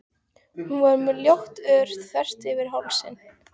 Hún var með ljótt ör þvert yfir hálsinn.